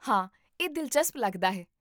ਹਾਂ, ਇਹ ਦਿਲਚਸਪ ਲੱਗਦਾ ਹੈ